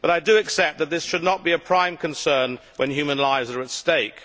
I accept that this should not be a prime concern when human lives are at stake.